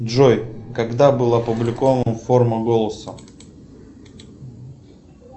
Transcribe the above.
джой когда был опубликован форма голоса